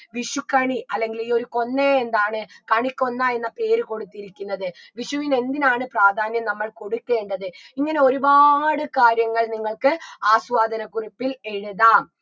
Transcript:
വിഷുക്കണി അല്ലെങ്കിൽ ഈ ഒരു കൊന്നയെ എന്താണ് കണിക്കൊന്ന എന്ന പേര് കൊടുത്തിരിക്കുന്നത് വിഷുവിന് എന്തിനാണ് പ്രാധാന്യം നമ്മൾ കൊടുക്കേണ്ടത് ഇങ്ങനെ ഒരുപാട് കാര്യങ്ങൾ നിങ്ങൾക്ക് ആസ്വാദനക്കുറിപ്പിൽ എഴുതാം